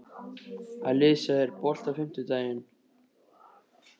Alisa, er bolti á fimmtudaginn?